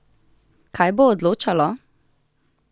Kaj bo odločalo?